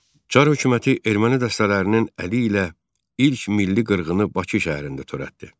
Çar hökuməti erməni dəstələrinin əli ilə ilk milli qırğını Bakı şəhərində törətdi.